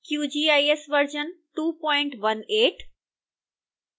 qgis version 218